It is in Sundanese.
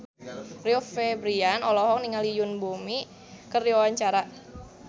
Rio Febrian olohok ningali Yoon Bomi keur diwawancara